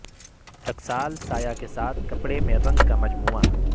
ٹکسال سایہ کے ساتھ کپڑے میں رنگ کا مجموعہ